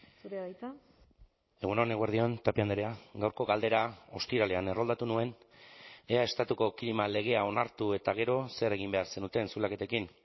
zurea da hitza egun on eguerdi on tapia andrea gaurko galdera ostiralean erroldatu nuen ea estatuko klima legea onartu eta gero zer egin behar zenuten zulaketekin